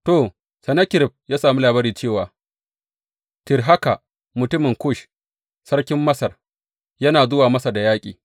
To, Sennakerib ya sami labari cewa Tirhaka, mutumin Kush sarkin Masar, yana zuwa masa da yaƙi.